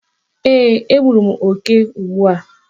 Eeh, egburu m oke ugbu a.